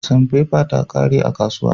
Sanfefe ta ƙare a kasuwa.